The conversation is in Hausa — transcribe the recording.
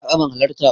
A'a ban halarta ba.